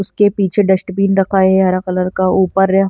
उसके पीछे डस्टबिन रखा है हरा कलर का ऊपर अ--